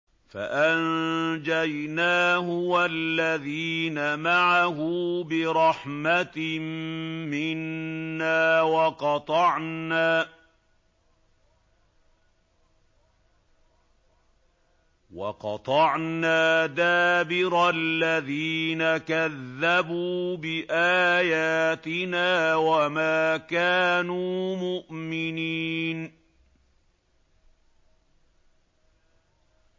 فَأَنجَيْنَاهُ وَالَّذِينَ مَعَهُ بِرَحْمَةٍ مِّنَّا وَقَطَعْنَا دَابِرَ الَّذِينَ كَذَّبُوا بِآيَاتِنَا ۖ وَمَا كَانُوا مُؤْمِنِينَ